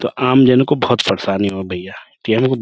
تو عام جن کو بھوت بہت پریشانی ہوئی بھیا --